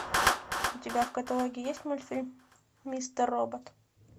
у тебя в каталоге есть мультфильм мистер робот